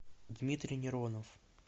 дмитрий миронов